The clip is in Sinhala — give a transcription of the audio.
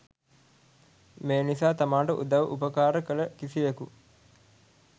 මේ නිසා තමාට උදව් උපකාර කළ කිසිවකු